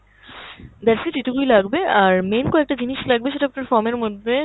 that's it, এটুকুই লাগবে, আর main কয়েকটা জিনিস লাগবে সেটা আপনার form এর মধ্যে